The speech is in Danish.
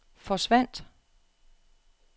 forsvandt